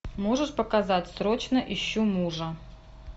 можешь показать срочно ищу мужа